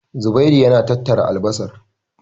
Zubairu yana tattara albasar.